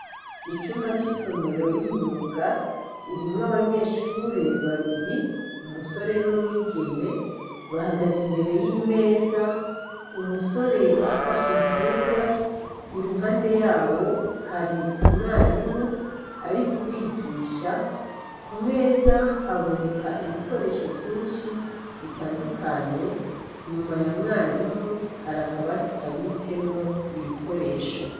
Icumba c'isomero y'imyuka irimwo abanyeshure babiri umusore n'umwigeme bahagaze imbere y'imeza umusore afashe intsinga i ruhande yabo hari umwarimu ari kubigisha ku meza haboneka ibikoresho vyinshi bitandukanye nyuma ya mwarimu harakabatikabitsemwo ibikoresho.